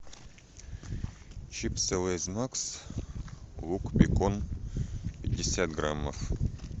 чипсы лейс макс лук бекон пятьдесят граммов